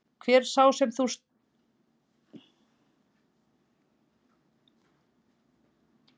Hver er sá sem þú ert stoltastur af því að hafa keypt?